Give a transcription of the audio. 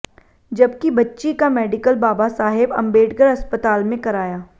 जबकि बच्ची का मेडिकल बाबा साहेब अंबेडकर अस्पताल में कराया